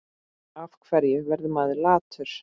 Af hverju verður maður latur?